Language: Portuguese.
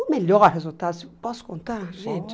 O melhor resultado, posso contar, gente? Pode